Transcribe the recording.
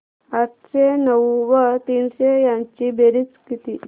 आठशे नऊ व तीनशे यांची बेरीज किती